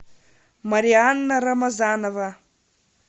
марианна рамазанова